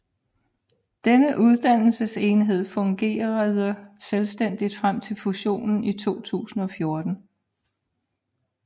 Denne uddannelsesenhed fungerede selvstændigt frem til fusionen i 2014